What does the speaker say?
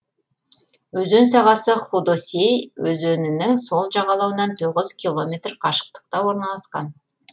өзен сағасы худосей өзенінің сол жағалауынан тоғыз километр қашықтықта орналасқан